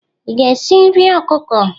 Ị ga-esi nri ọkụkọ?